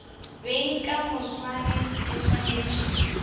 beng ka moswane ke swanetše